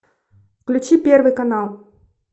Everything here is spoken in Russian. включи первый канал